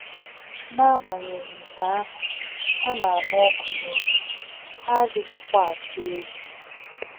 N'agbanyeghị nke ahụ, ha na-anụ ọkụ n'obi, ha adịghịkwa atụ egwu.